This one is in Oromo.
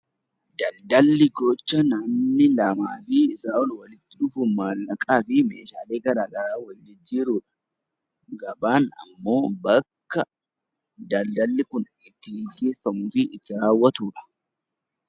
Daldalli gocha namni lamaa fi Sanaa ol walitti dhufuun maallaqaa fi meeshaalee garaagaraa wal jijjiiruu fi gabaan ammoo bakka daldalli Kun itti gaggeeffamuu fi raawwatudha.